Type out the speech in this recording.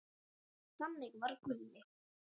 Þannig var Gulli.